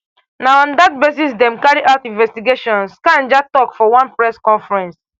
na on dat basis dem carry out investigations kanja tok for one press conference